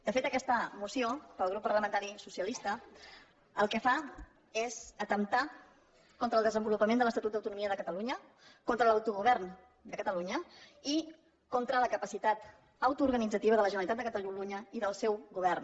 de fet aquesta moció pel grup parlamentari socialista el que fa és atemptar contra el desenvolupament de l’estatut d’autonomia de catalunya contra l’autogovern de catalunya i contra la capacitat autoorganitzativa de la generalitat de catalunya i del seu govern